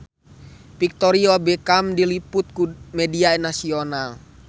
Victoria Beckham diliput ku media nasional